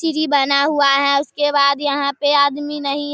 सीढ़ी बना हुआ है। उसके बाद यहाँ पे आदमी नहीं --